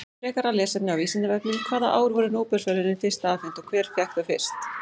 Frekara lesefni á Vísindavefnum: Hvaða ár voru Nóbelsverðlaunin fyrst afhent og hver fékk þau fyrst?